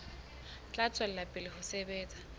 tla tswela pele ho sebetsa